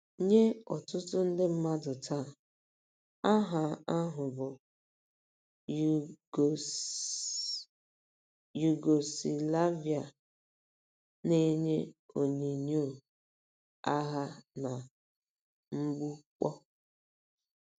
NYE ỌTỤTỤ ndị mmadụ taa, aha ahụ bụ́ Yugọ Yugoslavia na-enye onyinyo agha na mgbukpọ.